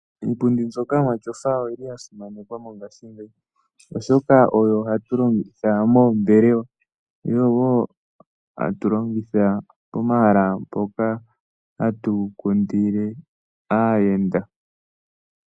Iipundi mbyoka yomatyofa oyi li ya simanekwa mongashingeyi, oshoka oyo hatu longitha moombelewa, yo oyo wo hatu longitha pomahala mpoka hatu kundile aayenda.